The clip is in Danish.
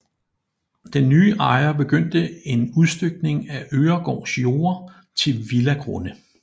Den nye ejer begyndte en udstykning af Øregaards jorder til villagrunde